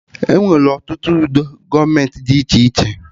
Enwere ọtụtụ udo gọọmenti dị iche iche